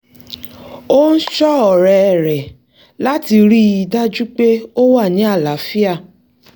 ó ń ṣọ́ ọ̀rẹ́ rẹ̀láti rí i dájú pé ó wà ní àláàfíà